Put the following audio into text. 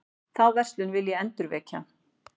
Þá verslun vil ég endurvekja.